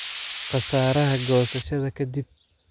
Khasaaraha goosashada ka dib.